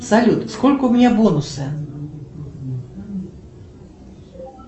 салют сколько у меня бонусы